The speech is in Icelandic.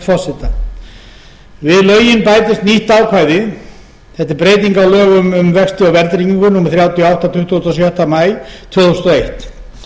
breyting á lögum um vexti og verðtryggingu númer þrjátíu og átta tuttugasta og sjötta maí tvö þúsund og eitt